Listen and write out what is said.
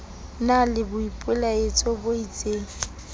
na le boipelaetso bo isteng